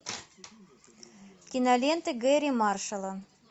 кинолента гэрри маршала